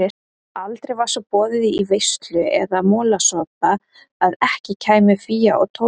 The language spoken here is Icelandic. Aldrei var svo boðið í veislu eða molasopa að ekki kæmu Fía og Tóti.